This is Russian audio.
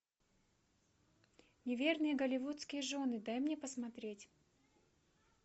неверные голливудские жены дай мне посмотреть